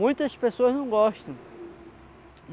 Muitas pessoas não gostam.